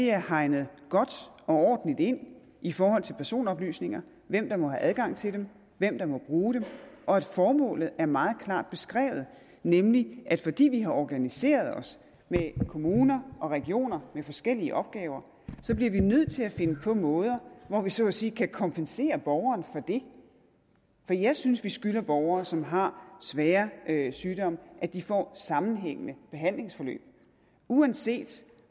er hegnet godt og ordentligt ind i forhold til personoplysninger hvem der må have adgang til dem hvem der må bruge dem og at formålet er meget klart beskrevet nemlig at fordi vi har organiseret os med kommuner og regioner med forskellige opgaver så bliver vi nødt til at finde på måder hvor vi så at sige kan kompensere borgeren for det for jeg synes at vi skylder borgere som har svære sygdomme at de får sammenhængende behandlingsforløb uanset